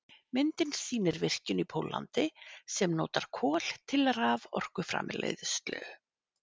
myndin sýnir virkjun í póllandi sem notar kol til raforkuframleiðslu